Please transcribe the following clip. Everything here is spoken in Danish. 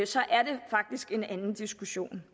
så er det faktisk en anden diskussion